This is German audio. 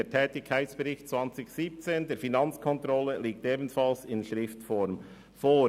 Der Tätigkeitbericht 2017 der Finanzkontrolle liegt ebenfalls in schriftlicher Form vor.